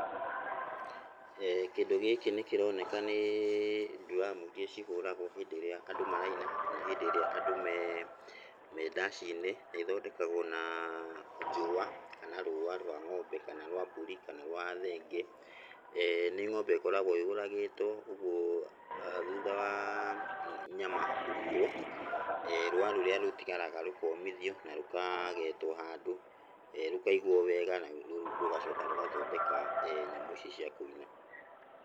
Kĩndũ gĩkĩ nĩ kĩroneka nĩ dramu iria cihũragwo hĩndĩ ĩrĩa andũ maraina kana hĩndĩ ĩrĩa andũ me, me ndaci-inĩ, nethondekagwo na njũa kana rũa rwa ng'ombe, kana rwa mbũri kana rwa thenge. Nĩ ng'ombe ĩkoragwo yũragĩtwo ũgwo thuutha wa nyama kũrutwo, rũa rũrĩa rũtigaraga rũkomithio na rũkagetwo handũ, rũkaigwo wega na rũgacoka rũgathondeka nyamũ ici cia kũina.